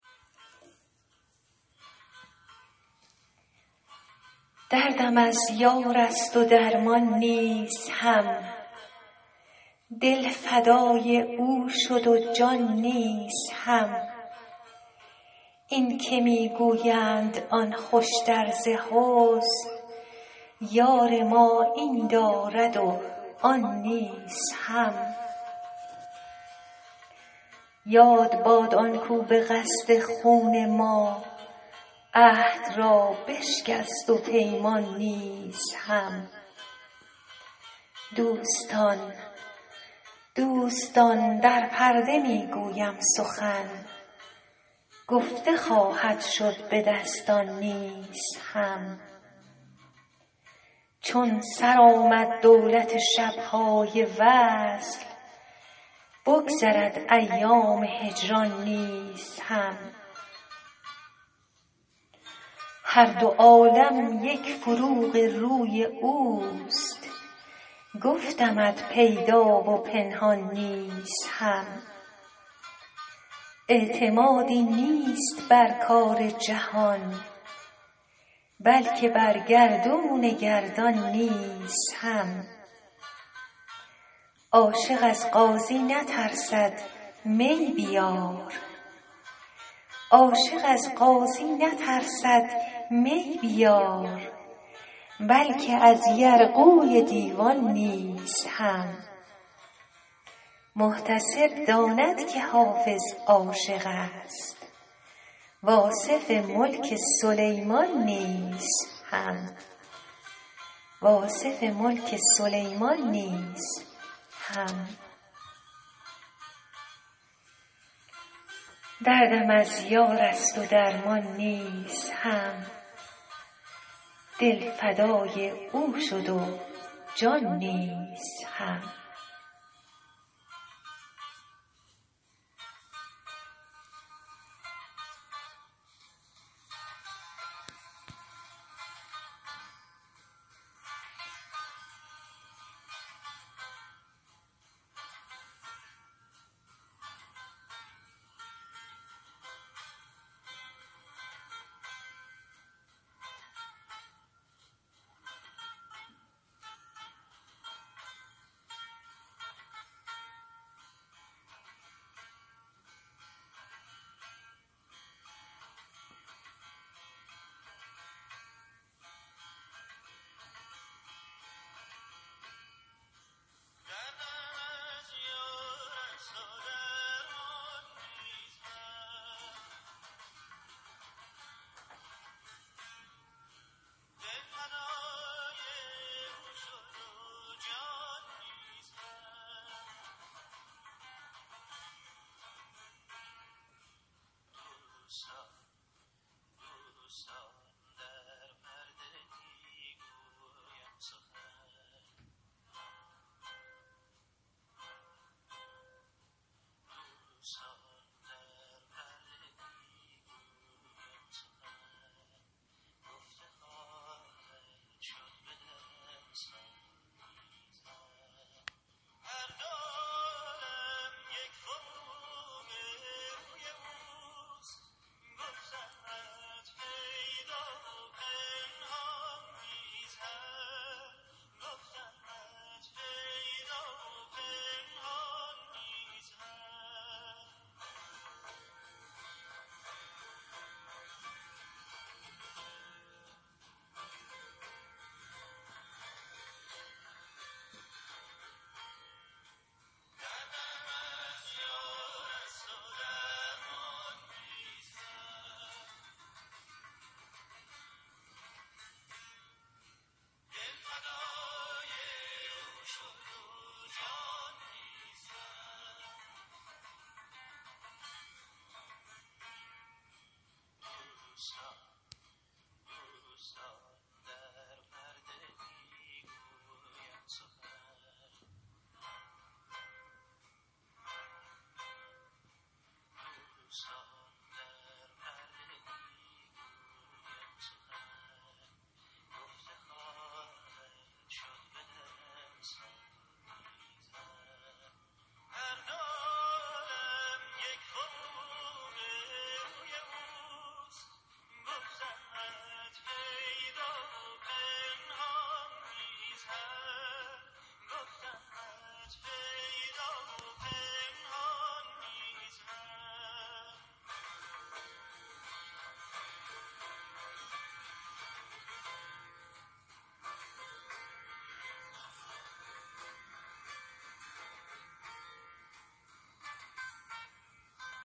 دردم از یار است و درمان نیز هم دل فدای او شد و جان نیز هم این که می گویند آن خوشتر ز حسن یار ما این دارد و آن نیز هم یاد باد آن کاو به قصد خون ما عهد را بشکست و پیمان نیز هم دوستان در پرده می گویم سخن گفته خواهد شد به دستان نیز هم چون سر آمد دولت شب های وصل بگذرد ایام هجران نیز هم هر دو عالم یک فروغ روی اوست گفتمت پیدا و پنهان نیز هم اعتمادی نیست بر کار جهان بلکه بر گردون گردان نیز هم عاشق از قاضی نترسد می بیار بلکه از یرغوی دیوان نیز هم محتسب داند که حافظ عاشق است و آصف ملک سلیمان نیز هم